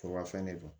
Forobafɛn de don